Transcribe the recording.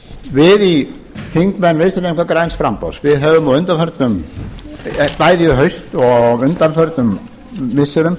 við þingmenn vinstri hreyfingarinnar græns framboðs höfum bæði í haust og á undanförnum missirum